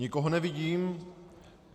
Nikoho nevidím.